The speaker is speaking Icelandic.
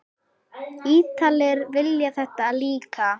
Ítalir vilja þetta líka.